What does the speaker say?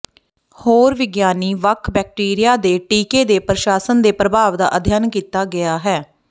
ਹੋਰ ਵਿਗਿਆਨੀ ਵੱਖ ਬੈਕਟੀਰੀਆ ਦੇ ਟੀਕੇ ਦੇ ਪ੍ਰਸ਼ਾਸਨ ਦੇ ਪ੍ਰਭਾਵ ਦਾ ਅਧਿਐਨ ਕੀਤਾ ਗਿਆ ਹੈ